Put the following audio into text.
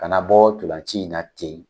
Kana bɔ tɔlanci in na ten.